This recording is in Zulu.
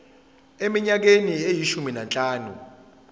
eminyakeni eyishumi nanhlanu